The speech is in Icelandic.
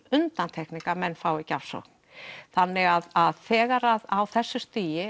undantekninga að menn fái gjafsókn þannig að þegar á þessu stigi